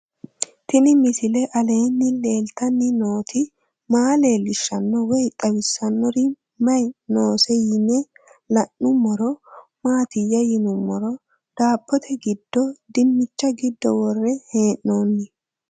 Tenni misile aleenni leelittanni nootti maa leelishshanno woy xawisannori may noosse yinne la'neemmori maattiya yinummoro daabbotte giddo dinicha giddo woree hee'noonni